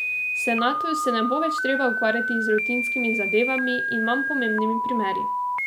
Senatu se ne bo več treba ukvarjati z rutinskimi zadevami in manj pomembnimi primeri.